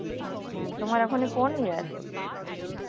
আচ্ছা তোমার এখনই কোন year?